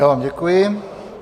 Já vám děkuji.